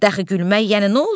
Dəxi gülmək, yəni nə olsun?